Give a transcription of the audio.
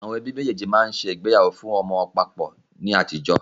Àwọn ẹbí méjèèjì máa ń ṣe ìgbéyàwó fún ọmọ wọn papọ̀ ni àtijọ́